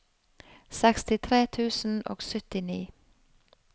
sekstitre tusen og syttini